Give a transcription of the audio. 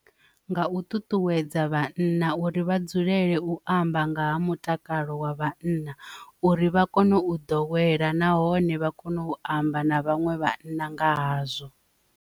Nga u ṱuṱuwedza vhanna uri vha dzulele u amba nga ha mutakalo wa vhanna uri vha kone u ḓowela nahone vha kone u amba na vhaṅwe vhanna nga hazwo.